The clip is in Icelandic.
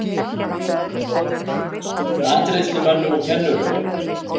Matreiðslumönnum og kennurum